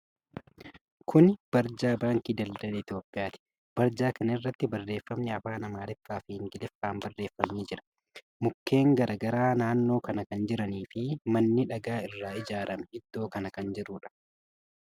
Kuni barjaa baankii daldala Itiyoophiyaati. Barjaa kana irratti barreeffamni afaan Amaariffaa fi Ingiliffaan barreeffame ni jira. Mukkeen garagaraa naannoo kana kan jiranii fi manni dhagaa irraa ijaarame iddoo kana kan jiruudha.